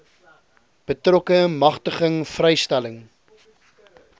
betrokke magtiging vrystelling